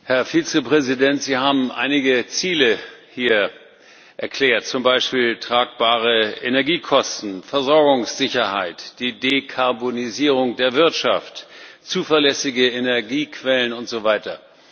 Herr Präsident! Herr Vizepräsident, Sie haben einige Ziele hier erklärt, zum Beispiel tragbare Energiekosten, Versorgungssicherheit, die Dekarbonisierung der Wirtschaft, zuverlässige Energiequellen und so weiter.